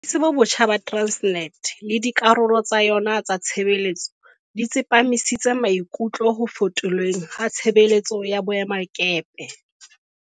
Botsamaisi bo botjha ba Transnet le dikarolo tsa yona tsa tshebetso di tsepamisitse maikutlo ho fetolweng ha tshebetso ya boemakepe.